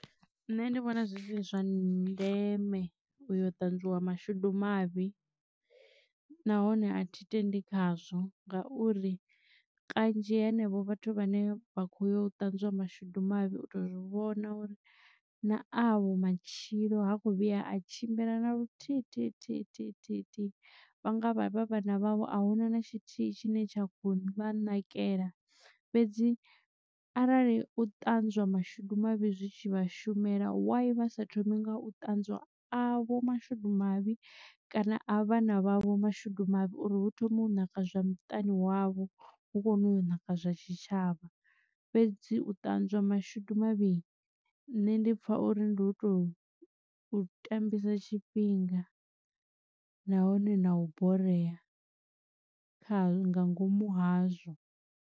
Nṋe ndi vhona zwi si zwa ndeme u yo ṱanzwiwa mashudu mavhi nahone a thi tendi khazwo ngauri kanzhi henevho vhathu vhane vha kho yo u ṱanzwa mashudu mavhi u to zwi vhona uri na avho matshilo ha kho vhuya a tshimbila na luthihi thi thi thi thi thi. Vhanga vha vhana vhavho a huna na tshithihi tshine tsha kho vha nakelela fhedzi arali u ṱanzwiwa mashudu mavhi zwitshi vhashumela why vha sa thomi nga u ṱanzwa avho mashudu mavhi kana a vhana vhavho mashudu mavhi uri hu thome u naka zwa muṱani wavho hu kone u naka zwa tshitshavha. Fhedzi u ṱanzwiwa mashudu mavhi nne ndi pfha uri ndi u to tambisa tshifhinga nahone na u boreya kha nga ngomu hazwo.